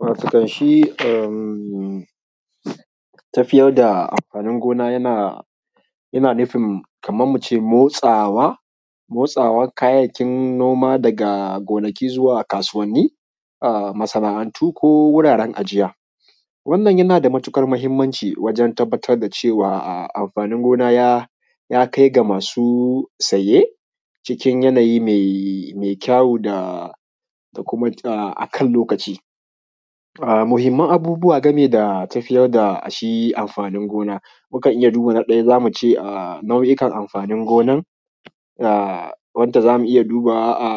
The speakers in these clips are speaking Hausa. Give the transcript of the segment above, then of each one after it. Watakan shi tafiyar da amfanin gona yana nufin kaman mu ce motsawa. Motsawan kayayyakin noma daga gonaki zuwa kasuwanni, masana'antu, ko wuraren ajiya. Wannan yana da matuƙar muhimmanci wajen tabbatar da cewa amfanin gona ya kai ga masu siye cikin yanayi mai kyawu da kuma akan lokaci. Muhimman abubuwa gami da tafiyar da shi amfanin gona mukan iya duba, na ɗaya za mu ce nau'ikan amfanin gonan, wadda za mu iya dubawa a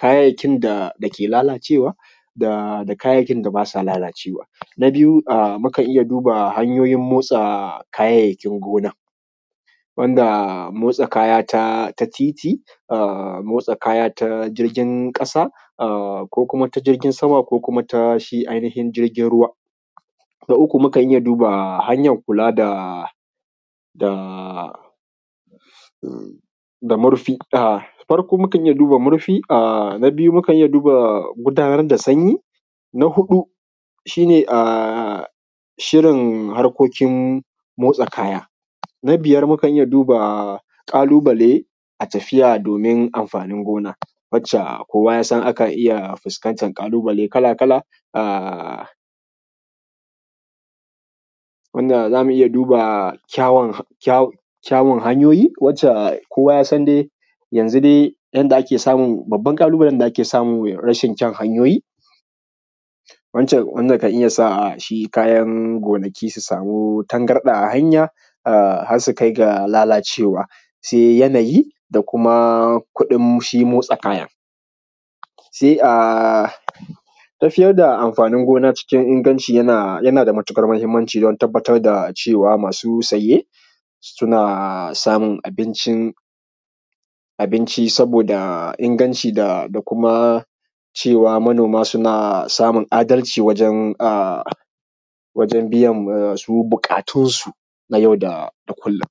kayayyakin da ke lalacewa da kayayyakin da ba sa lalacewa. Na biyu mukan iya duba hanyoyin motsa kayayyakin gonan wanda motsa kaya ta titi, da motsa kaya ta jirgin ƙasa, a koma kuma ta jirgin sama, ko kuma ta shi ainihin jirgin ruwa. Na uku mukan iya duba hanyan kula da murfi, farko mukan iya duba murfi a na biyu mukan iya duba gudanar da sanyi. Na huɗu shi ne shirin harkokin motsa kaya. Na biyar mukan iya duba ƙalubale a tafiya domin amfanin gona, wacce kowa ya san aka iya fuskanta ƙalubale kala kala a wanda zamu duba kyawun hanyoyi, wacce kowa ya san dai yanzu dai yadda ake samu babban ƙalubale da ake samu rashin kyan hanyoyi wanda ka iya sa shi kayan gonaki su samu tangarɗa a hanya har su kai ga lalacewa. Sai yanayi da kuma kudin shi motsa kayan, sai a tafiyar da amfanin gona cikin inganci. Yana da matuƙar muhimmanci don tabbatar da cewa masu saye suna samun abincin saboda inganci da kuma cewa manoma suna samun adalci wajan biyan su buƙatunsu na yau da kullum.